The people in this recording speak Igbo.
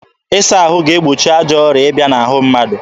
Ịsa ahụ ga-egbochi ajọ ọrịa ịbịa n'ahụ mmadụ.